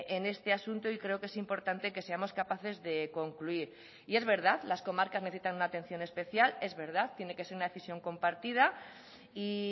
en este asunto y creo que es importante que seamos capaces de concluir y es verdad las comarcas necesitan una atención especial es verdad tiene que ser una decisión compartida y